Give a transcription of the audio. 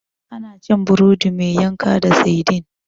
Ana cin burodi mai yanka da saidin.